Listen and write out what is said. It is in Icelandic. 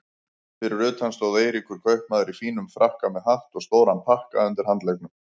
Fyrir utan stóð Eiríkur kaupmaður í fínum frakka með hatt og stóran pakka undir handleggnum.